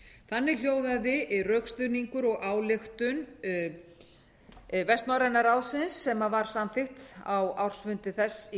þannig hljóðaði rökstuðningur og ályktun vestnorræna ráðsins sem var samþykkt á ársfundi þess í